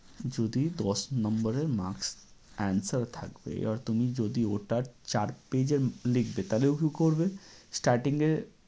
যদি দশ number এর marks answer থাকবে আর তুমি যদি ওটা চার page এ লিখবে তাহলে ও কী করবে? starting এ